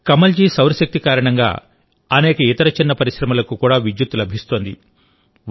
కమల్ జీ సౌరశక్తి కారణంగా అనేక ఇతర చిన్న పరిశ్రమలకు కూడా విద్యుత్తు లభిస్తోంది